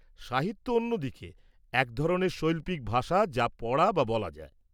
-সাহিত্য অন্য দিকে এক ধরনের শৈল্পিক ভাষা যা পড়া বা বলা যায়।